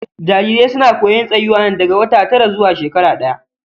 Jarirai suna koyon tsayuwa ne daga wata tara zuwa shekara ɗaya.